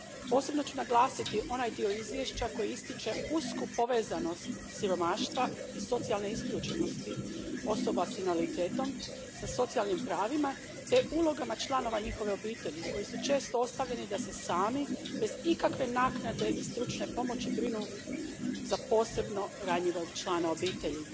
Posebno ću naglasiti onaj dio izvješća koji ističe usku povezanost siromaštva i socijalne isključenosti osoba s invaliditetom sa socijalnim pravima te ulogama članova njihove obitelji koji su često ostavljeni da se sami, bez ikakve naknade i stručne pomoći, brinu za posebno ranjivog člana obitelji.